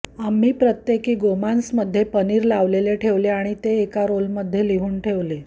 आम्ही प्रत्येकी गोमांसमधे पनीर लावलेले ठेवले आणि ते एका रोलमध्ये लिहून ठेवले